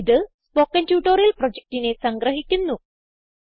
ഇത് spoken tutorial പ്രൊജക്റ്റിനെ സംഗ്രഹിക്കുന്നു